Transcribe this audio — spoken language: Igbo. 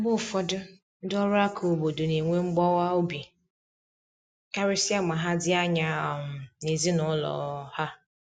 Mgbe ụfọdụ, ndị ọrụ aka obodo na enwe mgbawa obi, karịsịa ma ha dị anya um n’ezinụlọ um ha.